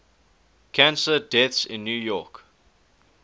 cancer deaths in new york